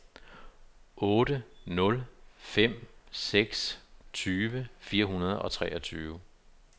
otte nul fem seks tyve fire hundrede og treogtyve